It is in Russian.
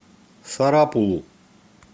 сарапулу